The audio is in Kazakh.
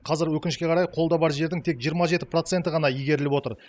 қазір өкінішке қарай қолда бар жердің тек жиырма жеті проценті ғана игеріліп отыр